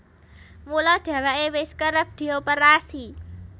Mula dhèwèké wis kerep dioperasi